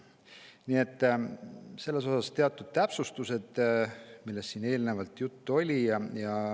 Nii et need olid teatud täpsustused selle kohta, millest siin eelnevalt juttu oli.